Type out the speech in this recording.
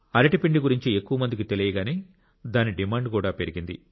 అరటి పిండి గురించి ఎక్కువ మందికి తెలియగానే దాని డిమాండ్ కూడా పెరిగింది